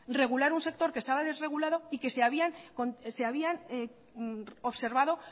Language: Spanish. regular un sector que estaba desregulado y que se habían observado